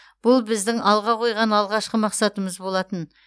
бұл біздің алға қойған алғашқы мақсатымыз болатын